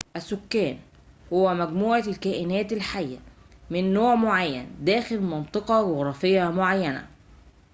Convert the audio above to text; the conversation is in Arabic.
السكان هو مجموعة الكائنات الحية من نوع معين داخل منطقة جغرافية معينة